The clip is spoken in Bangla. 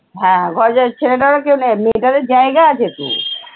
হ্যাঁ ঘরজা ছেলেটার ও কেউ নেই, মেয়েটা দের জায়গা আছে তো।